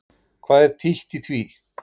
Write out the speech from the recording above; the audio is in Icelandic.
Hvað er títt í því?